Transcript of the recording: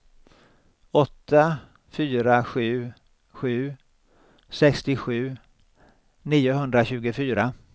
åtta fyra sju sju sextiosju niohundratjugofyra